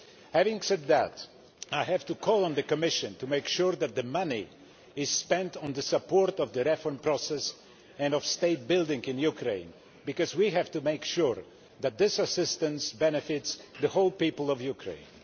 Having said that, I have to call on the Commission to make sure that the money is spent on support for the reform process and on state building in Ukraine because we have to make sure that this assistance benefits all the people of Ukraine.